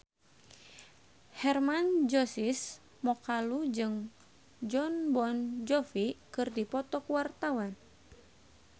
Hermann Josis Mokalu jeung Jon Bon Jovi keur dipoto ku wartawan